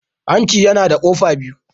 Hanci yana da kofa biyu.